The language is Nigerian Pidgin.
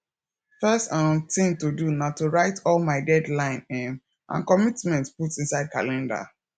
first um tin to do na to write all my deadline um and commitment put inside calender